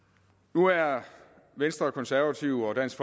nu er venstre og konservative og dansk